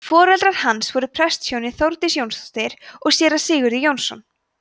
foreldrar hans voru prestshjónin þórdís jónsdóttir og séra sigurður jónsson